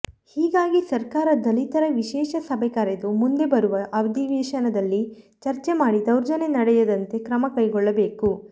ಹೀಗಾಗಿ ಸರ್ಕಾರ ದಲಿತರ ವಿಶೇಷ ಸಭೆ ಕರೆದು ಮುಂದೆ ಬರುವ ಅಧಿವೇಶನದಲ್ಲಿ ಚರ್ಚೆ ಮಾಡಿ ದೌರ್ಜನ್ಯ ನಡೆಯದಂತೆ ಕ್ರಮ ಕೈಗೊಳ್ಳಬೇಕು